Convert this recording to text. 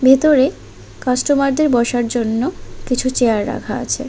ভেতরে কাস্টমার দের বসার জন্য কিছু চেয়ার রাখা আছে।